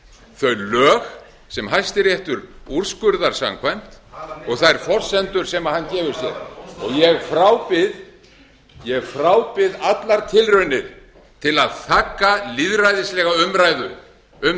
þau lög sem hæstiréttur úrskurðar samkvæmt og þær forsendur sem hann gefur sér og ég frábið allar tilraunir til að þagga lýðræðislega umræðu um